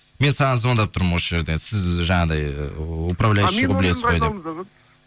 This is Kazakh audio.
мен саған звондап тұрмын осы жерден сіз жаңағындай ыыы управляющиді білесіз ғой деп